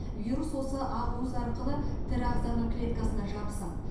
вирус осы ақуыз арқылы тірі ағзаның клеткасына жабысады